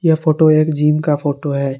ये फोटो एक जिम का फोटो है।